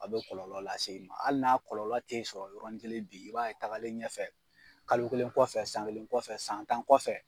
A be kɔlɔlɔ lase i ma ali n'a kɔlɔlɔ te sɔrɔ yɔrɔ ni kelen bi i b'a ye tagalen ɲɛfɛ kalo kelen kɔfɛ san kelen kɔfɛ san tan kɔfɛ